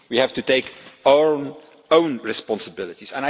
We have to take our own responsibilities.